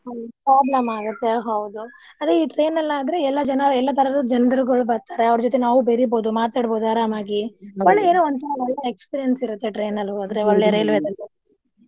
ಹ್ಮ್ problem ಆಗುತ್ತೆ ಹೌದು ಅದೆ ಈ train ಅಲ್ಲಿ ಆದ್ರೆ ಎಲ್ಲ ಜನಾ ಎಲ್ಲ ತರದ ಜನ್ರುಗಳು ಬರ್ತಾರೆ ಅವ್ರ್ ಜೊತೆ ನಾವು ಬೆರಿಬಹುದು ಮಾತಾಡ್ಬಹುದು ಅರಾಮಾಗಿ ಒಂತರಾ ಒಳ್ಳೇ experience ಇರುತ್ತೆ train ಅಲ್ಲಿ ಹೋದ್ರೆ .